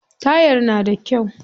Tayar na da kyau.